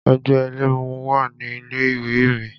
Ẹgbẹ́ ẹlẹ́mu wà ní ilé ìwé mi.